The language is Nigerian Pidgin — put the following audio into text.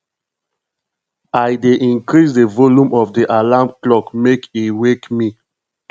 i dey increase di volume of di alarm clock make e wake me